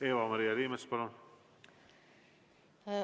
Eva-Maria Liimets, palun!